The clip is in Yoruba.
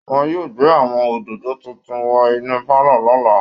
Wọ́n yóò gbé àwọn òdòdó tuntun wọ inú pálọ̀ lọ́la